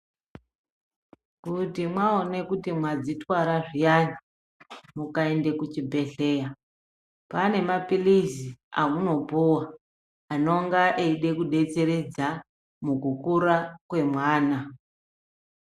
Kuti mwaone kuti mwadzitwara zviyana mukaenda kuchibhedhleya pane mapilizi amunopuwa anenga eida kudetseredza mukukura kwemwana.